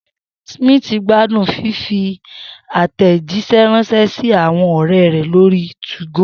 Smith gbádùn fífi àtẹ̀jíṣẹ́ ránṣẹ́ sí àwọn ọ̀rẹ́ rẹ̀ lórí 2go